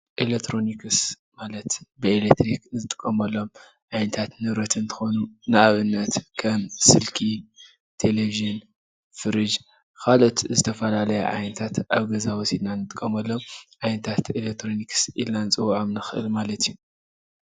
ኤለክትሮንክስ ማላት ብኤሌትሪክ ዝጥቀመሎም ዓይነታት ንብረት እንትኮን ንኣብነት ከም ስልክ፣ ቴለቨጅን ፣ፍርጅ ካልኦት ዝተፈላለዩ ዓይነታት ኣብ ገዛ ወስድና ኢና ንጥቀመሎም ዓይነታት ኤልትሮንክስ ኢልና ንፅውዖም ንክእል ማለት እዩ።